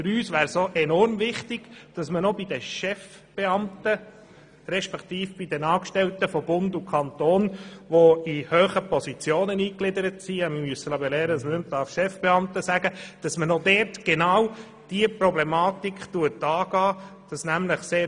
Für uns wäre es vielmehr enorm wichtig, auch bei den Chefbeamten bzw. bei den Angestellten von Bund und Kanton, welche hohe Positionen einnehmen – ich habe gehört, dass man nicht mehr von «Chefbeamten» sprechen soll –, genau diese Thematik angeht.